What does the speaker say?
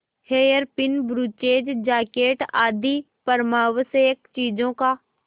hairpin brooches jacket आदि परमावश्यक चीजों का